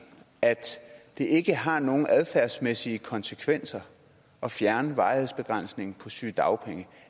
at det ikke har nogen adfærdsmæssige konsekvenser at fjerne varighedsbegrænsningen på sygedagpenge